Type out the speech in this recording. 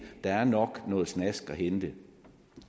der nok er noget snask at hente